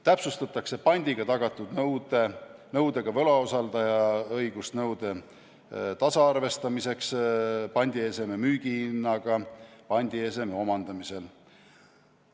Täpsustatakse pandiga tagatud nõudega võlausaldaja õigust nõude tasaarvestamiseks pandieseme müügihinnaga pandieseme omandamisel.